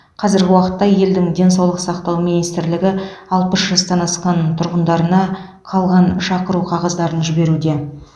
қазіргі уақытта елдің денсаулық сақтау министрлігі алпыс жастан асқан тұрғындарына қалған шақыру қағаздарын жіберуде